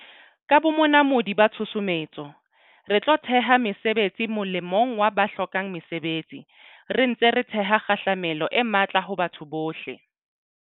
Ka bonamodi ba tshusumetso, re tlo theha mesebetsi molemong wa ba hlokang mesebetsi, re ntse re theha kgahlamelo e matla ho batho bohle.